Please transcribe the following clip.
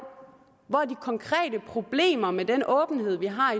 hvor de konkrete problemer med den åbenhed vi har